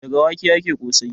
Daga wake ake ƙosai.